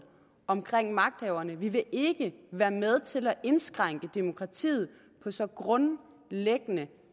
omkring magthaverne vi vil ikke være med til at indskrænke demokratiet på så grundlæggende